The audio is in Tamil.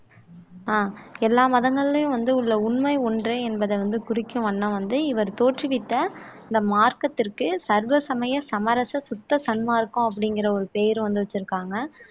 அஹ் எல்லா மதங்களையும் வந்து உள்ள உண்மை ஒன்றே என்பதை வந்து குறிக்கும் வண்ணம் வந்து இவர் தோற்றுவித்த இந்த மார்க்கத்திற்கு சர்வ சமய சமரச சுத்த சன்மார்க்கம் அப்படிங்கிற ஒரு பெயர் வந்து வச்சிருக்காங்க